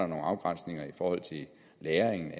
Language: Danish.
nogle afgrænsninger i forhold til lagringen